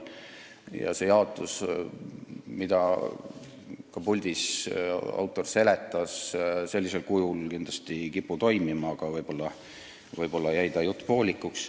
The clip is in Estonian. Ka see jaotus, mida autor puldistki seletas, ei kipu sellisel kujul toimima, aga võib-olla jäi ta jutt poolikuks.